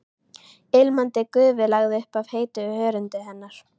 Ilmandi gufu lagði upp af heitu hörundi hennar.